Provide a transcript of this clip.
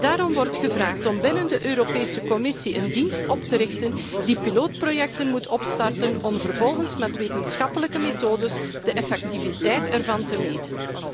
Daarom wordt gevraagd om binnen de Europese Commissie een dienst op te richten die pilootprojecten moet opstarten om vervolgens met wetenschappelijke methodes de effectiviteit ervan te meten.